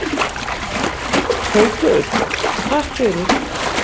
Haukur: Takk fyrir.